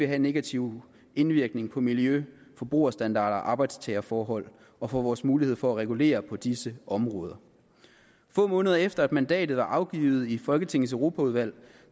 have negativ indvirkning på miljø forbrugerstandarder arbejdstagerforhold og for vores mulighed for at regulere på disse områder få måneder efter at mandatet var afgivet i folketingets europaudvalg